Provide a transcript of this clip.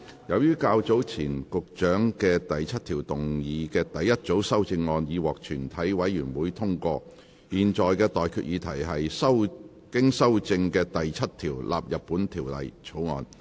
由於較早前局長就第7條動議的第一組修正案已獲全體委員會通過，我現在向各位提出的待決議題是：經修正的第7條納入本條例草案。